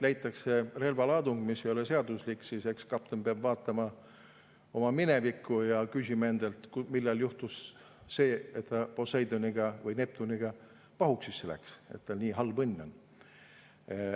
leitakse relvalaadung, mis ei ole seaduslik, eks siis kapten peab vaatama oma minevikku ja küsima endalt, millal juhtus see, et ta Poseidoni või Neptuniga pahuksisse läks, miks tal nii halb õnn on.